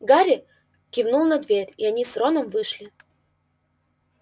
гарри кивнул на дверь и они с роном вышли